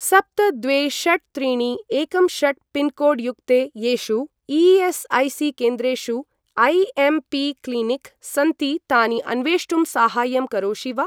सप्त द्वे षट् त्रीणि एकं षट् पिन्कोड् युक्ते येषु ई.एस्.ऐ.सी.केन्द्रेषु ऐ.एम्.पी.क्लिनिक् सन्ति तानि अन्वेष्टुं साहाय्यं करोषि वा?